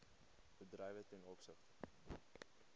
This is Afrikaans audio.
bedrywe ten opsigte